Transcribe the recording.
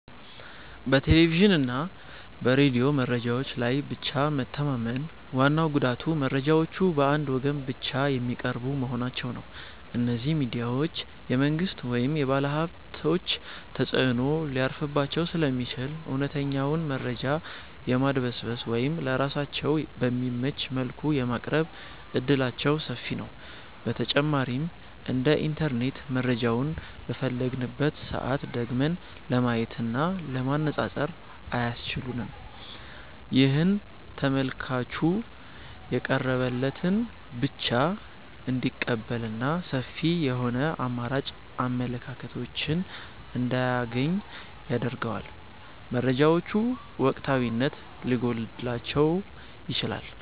በቴሌቪዥንና በሬዲዮ መረጃዎች ላይ ብቻ መተማመን ዋናው ጉዳቱ መረጃዎቹ በአንድ ወገን ብቻ የሚቀርቡ መሆናቸው ነው። እነዚህ ሚዲያዎች የመንግሥት ወይም የባለሀብቶች ተጽዕኖ ሊያርፍባቸው ስለሚችል፣ እውነተኛውን መረጃ የማድበስበስ ወይም ለራሳቸው በሚመች መልኩ የማቅረብ ዕድላቸው ሰፊ ነው። በተጨማሪም እንደ ኢንተርኔት መረጃውን በፈለግንበት ሰዓት ደግመን ለማየትና ለማነፃፀር አያስችሉም። ይህም ተመልካቹ የቀረበለትን ብቻ እንዲቀበልና ሰፊ የሆኑ አማራጭ አመለካከቶችን እንዳያገኝ ያደርገዋል። መረጃዎቹ ወቅታዊነት ሊጎድላቸውም ይችላል።